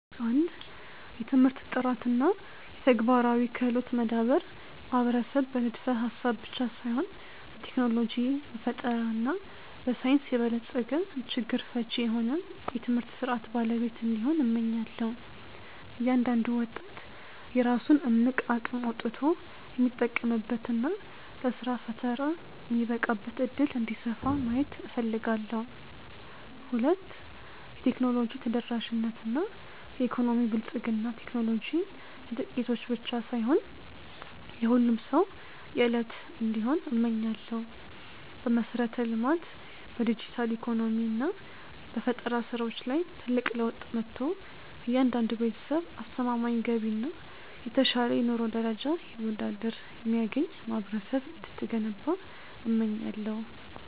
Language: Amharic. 1. የትምህርት ጥራት እና የተግባራዊ ክህሎት መዳበር ማህበረሰብ በንድፈ-ሐሳብ ብቻ ሳይሆን በቴክኖሎጂ፣ በፈጠራ እና በሳይንስ የበለጸገ፣ ችግር ፈቺ የሆነ የትምህርት ሥርዓት ባለቤት እንዲሆን፣ እመኛለሁ። እያንዳንዱ ወጣት የራሱን እምቅ አቅም አውጥቶ የሚጠቀምበት እና ለሥራ ፈጠራ የሚበቃበት ዕድል እንዲሰፋ ማየት እፈልጋለሁ። 2. የቴክኖሎጂ ተደራሽነት እና የኢኮኖሚ ብልጽግና ቴክኖሎጂ የጥቂቶች ብቻ ሳይሆን የሁሉም ሰው የዕለት እንዲሆን እመኛለሁ። በመሠረተ-ልማት፣ በዲጂታል ኢኮኖሚ እና በፈጠራ ሥራዎች ላይ ትልቅ ለውጥ መጥቶ፣ እያንዳንዱ ቤተሰብ አስተማማኝ ገቢ እና የተሻለ የኑሮ ደረጃ ይወዳድር የሚያገኝ ማህበረሰብ እንድትገነባ እመኛለሁ።